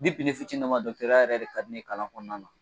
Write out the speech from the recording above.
ne fitininnama yɛrɛ de ka di ne ye kalan kɔnɔna na